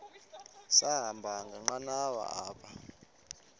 sahamba ngenqanawa apha